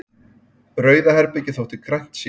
Rauða herbergið þótt grænt sé.